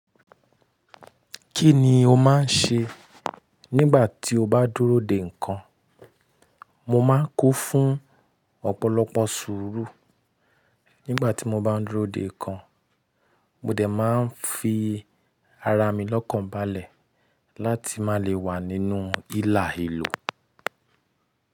Kí ni o máa ń ṣe nígbà tí o bá dúró dè nǹkan? Mo máa ń kún fún ọ̀pọ̀lọpọ̀ sùúrù nígbà tí mo bá ń dúró dè nǹkan. Mo dẹ̀ máa ń fi ara mi lọ́kànbalẹ̀ láti má lè wà nínú ihalehelo.